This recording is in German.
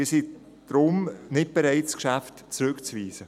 Deshalb sind wir nicht bereit, das Geschäft zurückzuweisen.